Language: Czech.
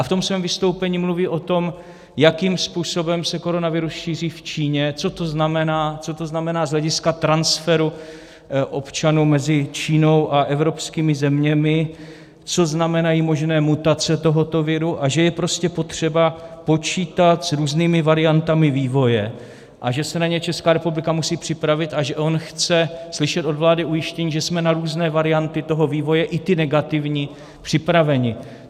A v tom svém vystoupení mluví o tom, jakým způsobem se koronavirus šíří v Číně, co to znamená, co to znamená z hlediska transferu občanů mezi Čínou a evropskými zeměmi, co znamenají možné mutace tohoto viru a že je prostě potřeba počítat s různými variantami vývoje a že se na ně Česká republika musí připravit a že on chce slyšet od vlády ujištění, že jsme na různé varianty toho vývoje, i ty negativní, připraveni.